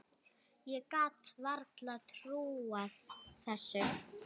Ég gat varla trúað þessu.